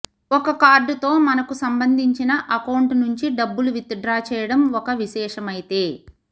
ఒక కార్డుతో మనకు సంబంధించిన అకౌంట్ నుంచి డబ్బులు విత్ డ్రా చేయడం ఒక విశేషమైతే